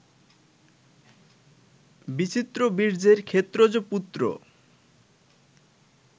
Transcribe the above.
বিচিত্রবীর্যের ক্ষেত্রজ পুত্র